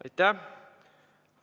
Aitäh!